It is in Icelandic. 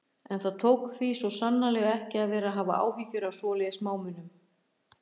En það tók því svo sannarlega ekki að vera að hafa áhyggjur af svoleiðis smámunum.